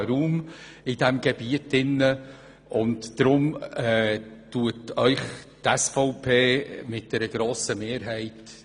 Das schafft eine Art funktionalen Raum in diesem Gebiet.